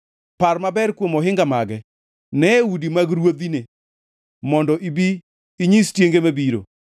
par maber kuom ohinga mage, nee udi mag ruodhine, mondo ibi inyis tienge mabiro.